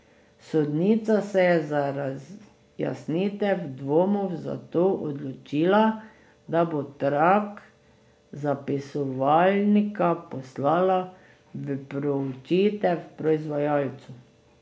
Sodnica se je za razjasnitev dvomov zato odločila, da bo trak zapisovalnika poslala v proučitev proizvajalcu.